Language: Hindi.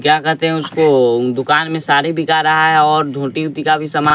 क्या कहते हैं उसको दुकान में साड़ी बिका रहा है और धोती ओती का भी सामान--